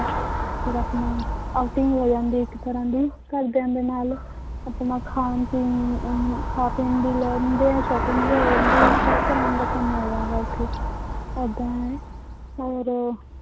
ਫਿਰ ਆਪਣਾ outing ਹੋ ਜਾਂਦੀ ਹੈ ਇੱਕ ਤਰ੍ਹਾਂ ਦੀ ਘਰਦਿਆਂ ਦੇ ਨਾਲ ਆਪਣਾ ਖਾਣ ਪੀਣ ਨੂੰ ਉਹਨੂੰ ਖਾ ਪੀਣ ਵੀ ਲੈ ਜਾਂਦੇ ਹੈ shopping ਵੀ ਹੋ ਜਾਂਦੀ ਹੈ ਸਭ ਤਰ੍ਹਾਂ ਦਾ ਕੰਮ ਹੋ ਜਾਂਦਾ ਹੈ ਉੱਥੇ ਏਦਾਂ ਹੈ ਔਰ